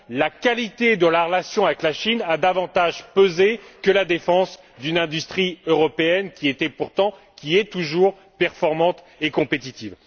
la qualité de la relation avec la Chine a davantage pesé que la défense d'une industrie européenne, qui était pourtant et qui est toujours performante et compétitive.